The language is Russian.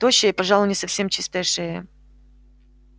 тощая и пожалуй не совсем чистая шея